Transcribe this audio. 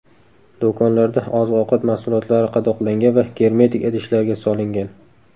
Do‘konlarda oziq-ovqat mahsulotlari qadoqlangan va germetik idishlarga solingan.